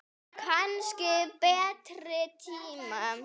Kannski betri tíma.